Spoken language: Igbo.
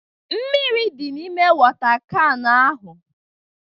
Mmírí dị n'ime wota kan ahụ